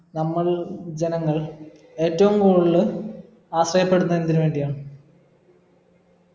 നമ്മൾ ജനങ്ങൾ ഏറ്റവും കൂടുതൽ ആശ്രയപ്പെടുന്നതെന്തിന് വേണ്ടിയാ